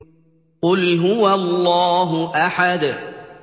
قُلْ هُوَ اللَّهُ أَحَدٌ